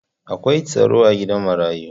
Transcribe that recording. Akwai tsaro a gidan marayu.